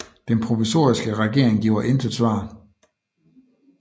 Den provisoriske regering giver intet svar